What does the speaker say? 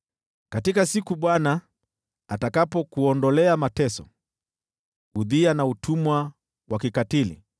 Katika siku Bwana atakapokuondolea mateso, udhia na utumwa wa kikatili,